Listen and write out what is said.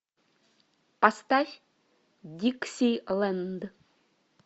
поставь диксиленд